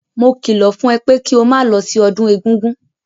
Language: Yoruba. Mo kìlọ̀ fún ẹ pé kí o máa lọ sí ọdún egúngún!